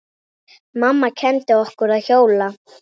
Mamma kenndi okkur að hjóla.